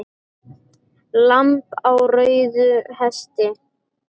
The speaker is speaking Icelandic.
Lamb á rauðum hesti